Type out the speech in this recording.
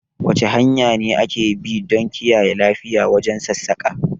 Wasu hanya ne ake bi don kiyaye lafiya wajen sassaƙa?